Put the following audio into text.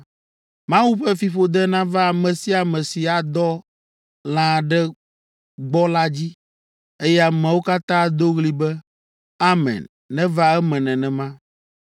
“Mawu ƒe fiƒode nava ame sia ame si adɔ lã aɖe gbɔ la dzi.” Eye ameawo katã ado ɣli be, “Amen; neva eme nenema!”